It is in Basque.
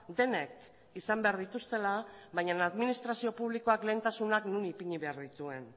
denek izan behar dituztela baina administrazio publikoak lehentasunak non ipini behar dituen